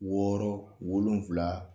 Wɔɔrɔ wolonfula